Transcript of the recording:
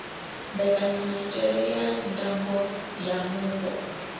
mbekanyamaitele ya ndango ya mupo